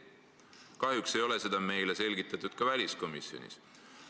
Kahjuks ei ole meile seda selgitatud ka väliskomisjonis.